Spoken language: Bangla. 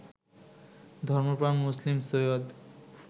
ধর্মপ্রাণ মুসলিম সৈয়দ